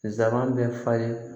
Nsaban bɛ falen